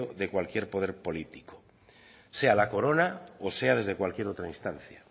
de cualquier poder político sea la corona o sea desde cualquier otra instancia